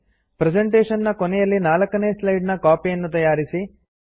presentation ನ ಕೊನೆಯಲ್ಲಿ 4ನೇ ಸ್ಲೈಡ್ ನ ಕಾಪಿ ಅನ್ನು ತಯಾರಿಸಿ